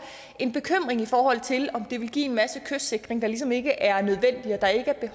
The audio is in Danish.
en bekymring i forhold til om det ville give en masse kystsikring der ligesom ikke er nødvendig